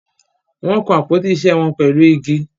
Wọ́n kan àpótí isẹ́ wọn pẹ̀lú igi.